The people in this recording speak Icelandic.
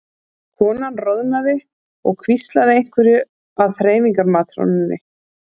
Konan roðnaði og hvíslaði einhverju að þreifingar- matrónunni.